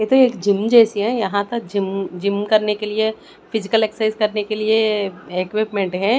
ये तो एक जिम जैसी है यहाँ तो जिम जिम करने के लिए फिजिकल एक्सरसाइज करने के लिए इक्विपमेंट --